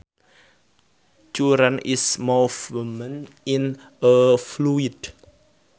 Current is movement in a fluid